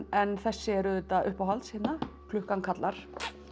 en þessi er auðvitað uppáhalds klukkan kallar